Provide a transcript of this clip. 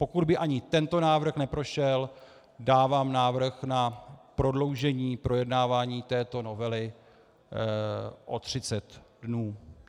Pokud by ani tento návrh neprošel, dávám návrh na prodloužení projednávání této novely o 30 dnů.